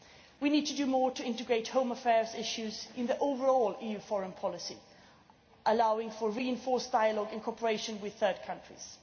We need to do more to integrate home affairs issues in overall EU foreign policy, allowing for reinforced dialogue in cooperation with third countries.